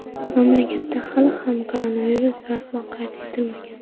Mamlakatda hali ham koronavirus rasman qayd etilmagan.